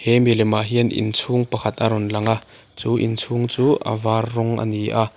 he milemah hian inchhung pakhat a rawn lang a chu inchhung chu a var rawng a ni a.